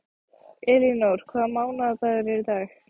Elínór, hvaða mánaðardagur er í dag?